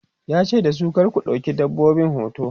yace dasu "kar ku ɗauki dabbobin hoto!'